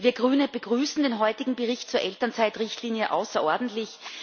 Wir Grüne begrüßen den heutigen Bericht zur Elternzeitrichtlinie außerordentlich.